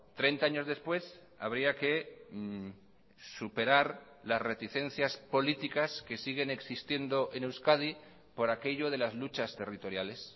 treinta años después habría que superar las reticencias políticas que siguen existiendo en euskadi por aquello de las luchas territoriales